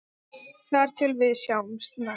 Þar til við sjáumst næst.